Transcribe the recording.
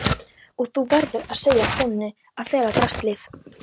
Og þú verður að segja konunni að fela draslið.